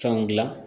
Fɛnw dilan